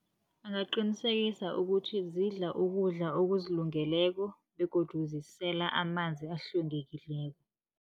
Angaqinisekisa ukuthi zidla ukudla okuzilungileko begodu zisela amanzi ahlwengekileko.